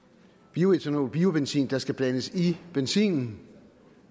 bioætanol biobenzin der skal blandes i benzinen